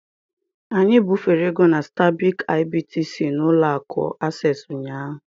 Anyị bufere ego na Stanbic IBTC na Ụlọ akụ Access ụnyahụ